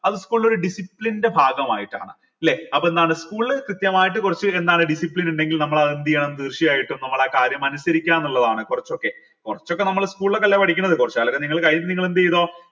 അത് school ൻ്റെ ഒരു discipline ൻ്റെ ഭാഗമായിട്ടാണ് ലെ അതെന്താണ് school കൃത്യമായിട്ട് കുറച്ച് എന്താണ് discipline ഇണ്ടെങ്കിൽ നമ്മൾ അതെന്തെയ്യണം തീർച്ചയായിട്ടും നമ്മളാ കാര്യം അനുസരിക്കണം എന്നിള്ളതാണ് കൊറച്ചൊക്കെ കൊറച്ചൊക്കെ നമ്മൾ school ലോക്കല്ലേ പഠിക്കുന്നേ കൊറച്ച് കാലം കഴിഞ്ഞ് നിങ്ങൾ എന്ത് ചെയ്തോ